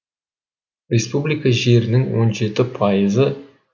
республика жерінің он жеті пайызы